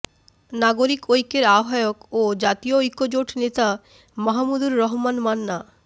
নাগরিক ঐক্যের আহ্বায়ক ও জাতীয় ঐক্যজোট নেতা মাহমুদুর রহমান মান্না